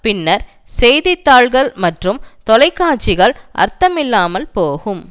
பின்னர் செய்தி தாள்கள் மற்றும் தொலைக்காட்சிகள் அர்த்தமில்லாமல் போகும்